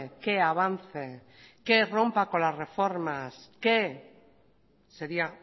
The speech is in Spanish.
que avance que rompa con las reformas sería